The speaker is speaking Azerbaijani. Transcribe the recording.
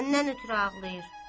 Səndən ötrü ağlayır.